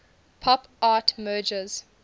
pop art merges